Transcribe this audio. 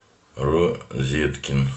розеткин